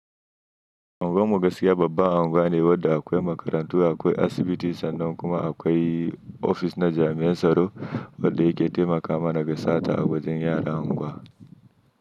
Anguwanmu gaskiya babban anguwa ne wadda akwai makarantu, akwai asibiti sannan kuma akwai ofis na jami'an tsaro wadda yake taimaka mana ga sata a wajen yaran angwa.